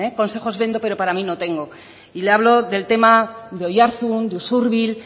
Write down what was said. consejos vendo pero para mí no tengo y le hablo del tema de oiartzun de usurbil